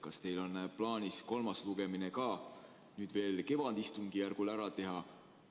Kas teil on plaanis kolmas lugemine ka veel kevadistungjärgul ära teha?